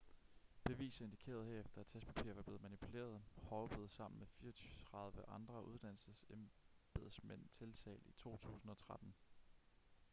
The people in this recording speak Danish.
beviser indikerede herefter at testpapirer var blevet manipuleret hall blev sammen med 34 andre uddannelsesembedsmænd tiltalt i 2013